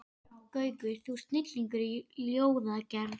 Gaukur, þú ert snillingur í ljóðagerð.